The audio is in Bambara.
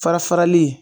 Fara farali